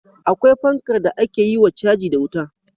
Akwai fankar da ake yiwa caji da wuta